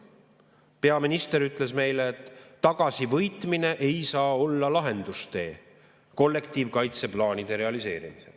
Peaminister ütles meile, et tagasivõitmine ei saa olla lahendustee kollektiivkaitseplaanide realiseerimisel.